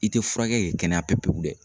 I tɛ furakɛ k'i kɛnɛya pepe pewu